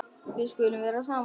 Við skulum vera saman.